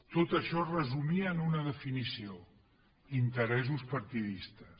tot això es resumia en una definició interessos partidistes